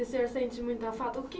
E o senhor sente muita falta? O que